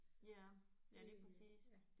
Ja ja lige præcist